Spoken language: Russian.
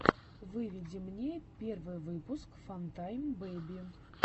выведи мне первый выпуск фантайм бэби